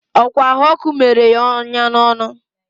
ọ kwa ahụ ọkụ mere ya onya n'ọnụ.